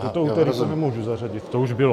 Toto úterý to nemůžu zařadit, to už bylo.